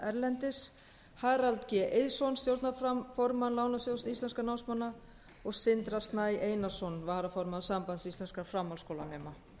erlendis harald g eiðsson stjórnarformann lánasjóðs íslenskra námsmanna og sindra snæ einarsson varaformann sambands íslenskra framhaldsskólanema